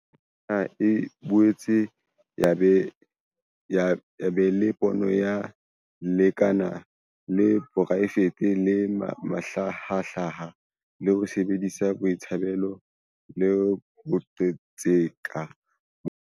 Tokomane ena e boetse ya ba le pono ya lekala la poraefete le mahlahahlaha, le sebedisang boitsebelo le boqhetseke ba.